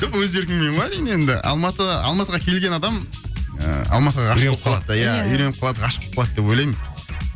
жоқ өз еркіммен ғой әрине енді алматыға алматыға келген адам ыыы алматыға ғашық болып қалады үйреніп қалады ғашық болып қалады деп ойлаймын